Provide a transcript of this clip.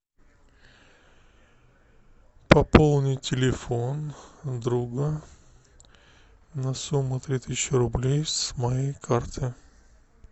пополнить телефон друга на сумму три тысячи рублей с моей карты